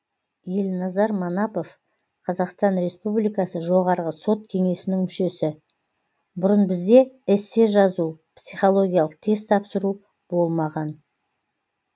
елназар манапов қазақстан республикасы жоғарғы сот кеңесінің мүшесі бұрын бізде эссе жазу психологиялық тест тапсыру болмаған